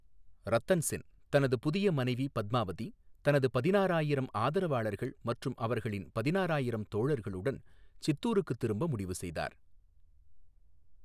ரத்தன் சென் தனது புதிய மனைவி பத்மாவதி, தனது பதினாறாயிரம் ஆதரவாளர்கள் மற்றும் அவர்களின் பதினாறாயிரம் தோழர்களுடன் சித்தூருக்கு திரும்ப முடிவு செய்தார்.